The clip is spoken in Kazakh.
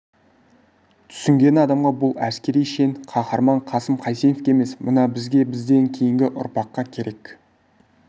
түсінген адамға бұл әскери шен қаһарман қасым қайсеновке емес мына бізге бізден кейінгі ұрпаққа керек